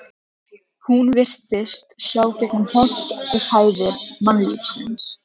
Hún virtist sjá gegnum holt og hæðir mannlífsins.